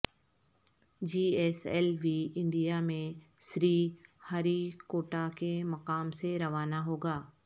جی S L V India میں Sriharikota کے مقام سے روانہ ہو گا